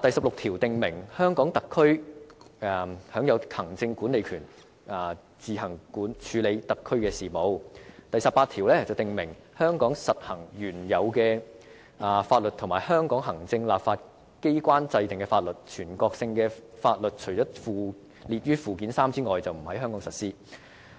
第十六條訂明，香港特區享有行政管理權，自行處理特區的行政事務；第十八條訂明香港特區實行原有法律和香港立法機關制定的法律，全國性法律除列於附件三者外，不在香港實施；